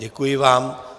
Děkuji vám.